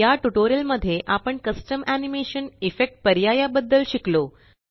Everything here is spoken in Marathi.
या ट्यूटोरियल मध्ये आपण कस्टम एनिमेशन इफेक्ट पर्याया बदद्ल शिकलो